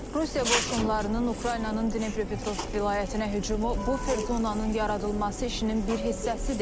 Rusiya qoşunlarının Ukraynanın Dnepropetrovsk vilayətinə hücumu bufer zonanın yaradılması işinin bir hissəsidir.